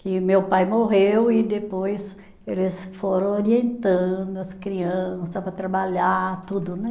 Que meu pai morreu e depois eles foram orientando as crianças para trabalhar, tudo, né?